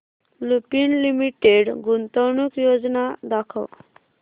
Lupin limited गुंतवणूक योजना दाखव